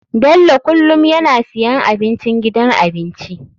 Bello kullum yana siyan abincin gidan abinci.